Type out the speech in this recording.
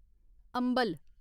अम्बल